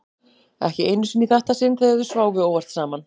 Ekki einu sinni í þetta sinn þegar þau sváfu óvart saman.